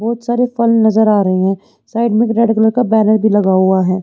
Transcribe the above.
बहुत सारे फल नज़र आ रहे है साइड में एक रेड कलर का बैनर भी लगा हुआ है।